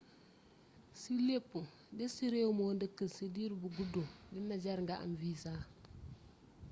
ci lépp dés ci rééw moo deekkul ci diir bu guddu dina jar nga am visa